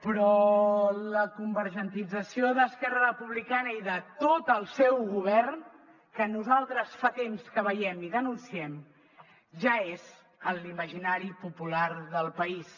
però la convergentització d’esquerra republicana i de tot el seu govern que nosaltres fa temps que veiem i denunciem ja és en l’imaginari popular del país